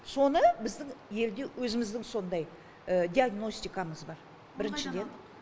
соны біздің елде өзіміздің сондай диагностикамыз бар біріншіден